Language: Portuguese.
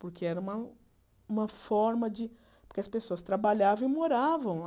Porque era uma uma forma de... Porque as pessoas trabalhavam e moravam lá.